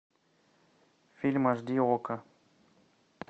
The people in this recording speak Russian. фильм аш ди окко